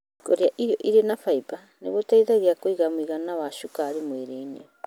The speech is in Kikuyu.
Kũrĩa irio irĩ faimba nĩ gũteithagia kũiga mũigana wa cukari mwĩrĩnĩ.